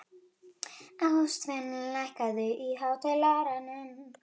Ástvin, lækkaðu í hátalaranum.